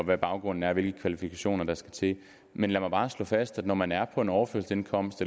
hvad baggrunden er og hvilke kvalifikationer der skal til men lad mig bare slå fast at når man er på overførselsindkomst